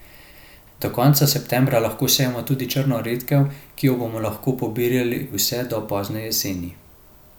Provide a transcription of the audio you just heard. Do konca septembra lahko sejemo tudi črno redkev, ki jo bomo lahko pobirali vse do pozne jeseni.